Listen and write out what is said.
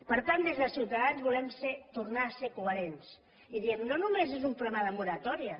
per tant des de ciutadans volem tornar a ser coherents i diem no només és un problema de moratòria